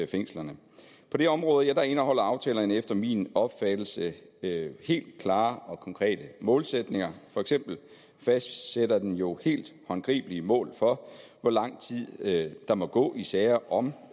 fængslerne på det område indeholder aftalen efter min opfattelse helt klare og konkrete målsætninger for eksempel fastsætter den jo helt håndgribelige mål for hvor lang tid der må gå i sager om